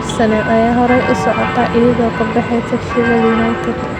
Arsenal ayaa horay u socota iyadoo ka baxaysa Sheffield United.